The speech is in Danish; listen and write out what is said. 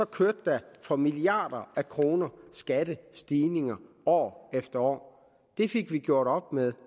kørte der for milliarder af kroner skattestigninger år efter år det fik vi gjort op med